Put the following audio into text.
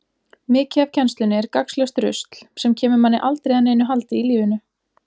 Mikið af kennslunni er gagnslaust rusl, sem kemur manni aldrei að neinu haldi í lífinu.